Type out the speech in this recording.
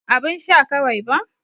Abun sha kawai ba.